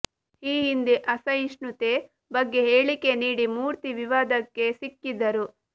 ಈ ಹಿಂದೆ ಅಸಹಿಷ್ಣುತೆ ಬಗ್ಗೆ ಹೇಳಿಕೆ ನೀಡಿ ಮೂರ್ತಿ ವಿವಾದಕ್ಕೆ ಸಿಕ್ಕಿದ್ದರು